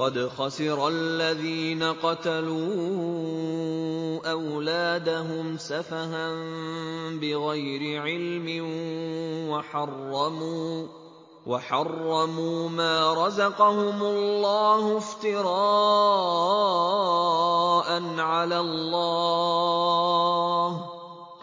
قَدْ خَسِرَ الَّذِينَ قَتَلُوا أَوْلَادَهُمْ سَفَهًا بِغَيْرِ عِلْمٍ وَحَرَّمُوا مَا رَزَقَهُمُ اللَّهُ افْتِرَاءً عَلَى اللَّهِ ۚ